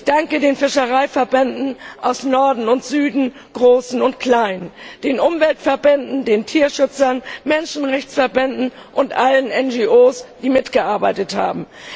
Ich danke den Fischereiverbänden aus Norden und Süden, großen und kleinen, den Umweltverbänden, den Tierschützern, Menschenrechtsverbänden und allen NGOs, die mitgearbeitet haben.